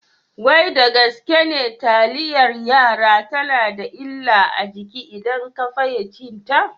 Wai da gaske ne taliyar yara tana da illa a jiki idan ka fiye cinta?